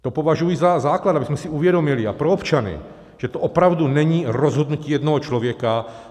To považuji za základ, abychom si uvědomili, a pro občany, že to opravdu není rozhodnutí jednoho člověka.